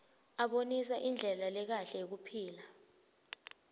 abonisa indlela lekahle yekuphila